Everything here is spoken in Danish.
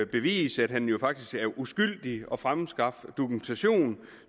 bevise at han er uskyldig og fremskaffe dokumentation